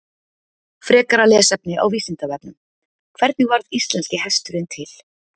Frekara lesefni á Vísindavefnum: Hvernig varð íslenski hesturinn til?